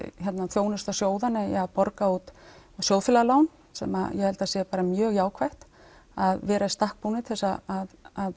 þjónusta sjóðanna í að borga út sjóðfélagalán sem ég held að sé mjög jákvætt að vera í stakk búin til að